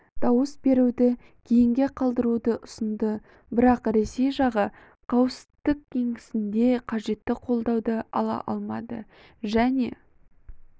дауыс беруді кейінге қалдыруды ұсынды бірақ ресей жағы қауіпсіздік кеңесінде қажетті қолдауды ала алмады және